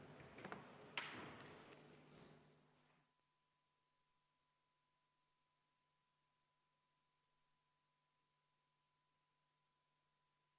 Istungi lõpp kell 11.52.